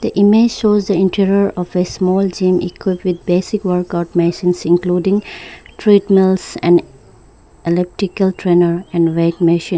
image shows the interior of a small gym equipped with basic workout masines including treadmills and electrical trainer and weight machine.